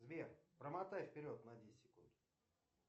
сбер промотай вперед на десять секунд